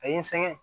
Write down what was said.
A ye n sɛgɛn